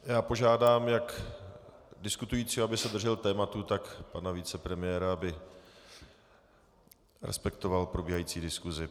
Já požádám jak diskutujícího, aby se držel tématu, tak pana vicepremiéra, aby respektoval probíhající diskusi.